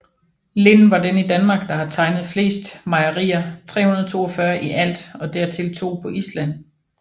Lind var den i Danmark der har tegnet fleste mejerier 342 i alt og dertil to på Island